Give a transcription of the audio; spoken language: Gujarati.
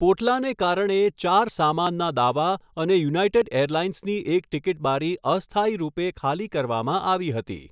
પોટલાને કારણે, ચાર સામાનના દાવા અને યુનાઈટેડ એરલાઈન્સની એક ટિકિટબારી અસ્થાયી રૂપે ખાલી કરવામાં આવી હતી.